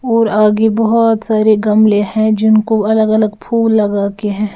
और आगे बहुत सारे गमले हैं जिनको अलग-अलग फूल लगा के हैं।